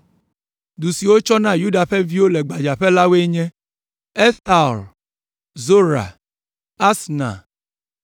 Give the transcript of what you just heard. Du siwo wotsɔ na Yuda ƒe viwo le gbadzaƒe la woe nye: Estaol, Zora, Asna,